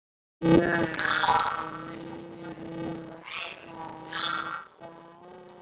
Við höfum engu að tapa.